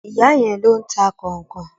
Ìyá yẹn ló ń ta kọ̀nkọ̀n.